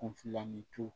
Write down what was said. Kunfilanintu